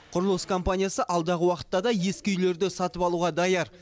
құрылыс компаниясы алдағы уақытта да ескі үйлерді сатып алуға даяр